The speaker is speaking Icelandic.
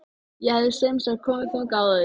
Ég hafði semsagt komið þangað áður.